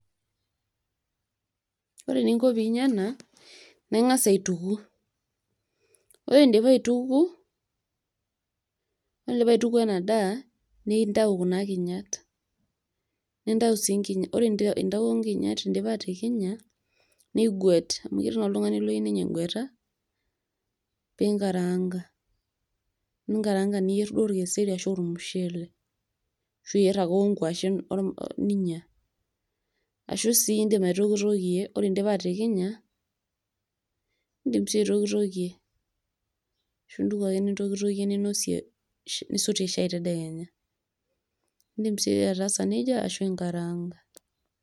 Ore eninko pinya ena naa ingas aituku ,ore indipa aituku ore indipa aitukuo ena daa nintau kuna kinyat nintau si nkinya ore intawuo nkinyat indipa atikinya niguet amu ketii naa oltungani oyieu nenya egueta pinnkaranga, ninkaranga niyier duo orkeseri arashu ormushele ashu iyier ake onkwashen ninya . ashu sii indim aitokitokie ,ore indipa atikinya indim sii aitokitokie ashu intuku ake nintokitokie ninosie nisotie shai tedekenya , indim sii ataasa nejia ashu inkaraanga.